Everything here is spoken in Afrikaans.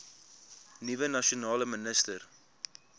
nuwe nasionale minister